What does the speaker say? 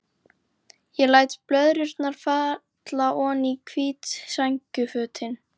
Ég læt blöðrurnar falla oní hvít sængurfötin.